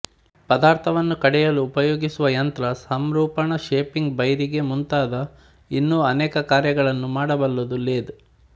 ಪದಾರ್ಥವನ್ನು ಕಡೆಯಲು ಉಪಯೋಗಿಸುವ ಯಂತ್ರ ಸಂರೂಪಣ ಶೇಪಿಂಗ್ ಬೈರಿಗೆ ಮುಂತಾದ ಇನ್ನೂ ಅನೇಕ ಕಾರ್ಯಗಳನ್ನು ಮಾಡಬಲ್ಲುದು ಲೇದ್